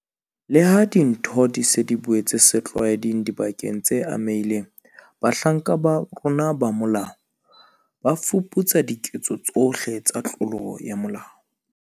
Leha dintho di se di boetse setlwaeding dibakeng tse amehileng, bahlanka ba rona ba molao ba fuputsa diketso tsohle tsa tlolo ya molao.